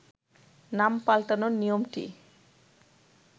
নাম পাল্টানোর নিয়মটি